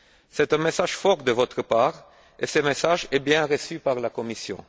C'est un message fort de votre part et ce message est bien reçu par la Commission.